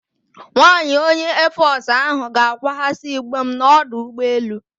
Nwaanyị onye Eefọsụ ahụ ga-akwaghasị igbe m n'ọdụ ụgbọelu.